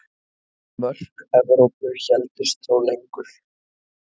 Mörk Evrópu héldust þó lengur.